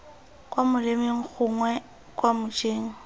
kwa molemeng gongwe kwa mojeng